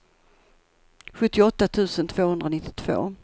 sjuttioåtta tusen tvåhundranittiotvå